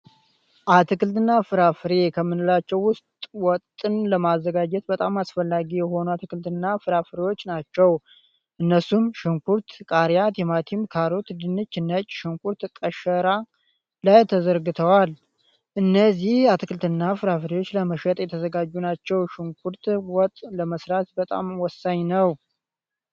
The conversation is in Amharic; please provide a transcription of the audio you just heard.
አትክልት እና ፍራፍሬ ከምንላቸው ውስጥ ወጥን ለማዘጋጀት በጣም አስፈላጊ የሆኑ አትክልት እና ፍራፍሬዎች ናቸው። እነሱም ሽንኩርት፣ ቃሪያ፣ ቲማቲም፣ ካሮት፣ ድንች፣ ነጭ ሽንኩርት ቀሸራ ላይ ተዘርግቷል። እነዚህ አትክልት እና ፍራፍሬዎች ለመሸጥ የተዘጋጁ ናቸው። ሽንኩርት ወጥ ለምስራት በጣም ወሳኝ ነው።